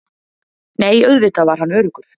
Nei, auðvitað var hann öruggur.